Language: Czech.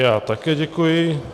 Já také děkuji.